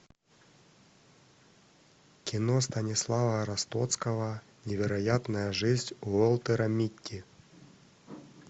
кино станислава ростовского невероятная жизнь уолтера митти